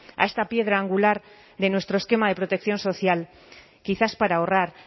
a esta piedra angular de nuestro esquema de protección social quizás para ahorrar